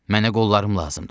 Mənə qollarım lazımdır.